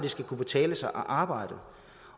kunne betale sig at arbejde